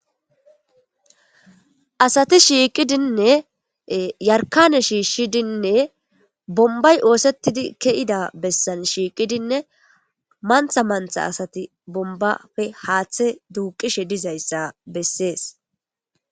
asati shiiqidinne yarkane shiishshidinne bombay oosettidi ke7ida bessan shiiqidinne mantha mantha asati bombafe haaththe duuqishe dizayssa bessees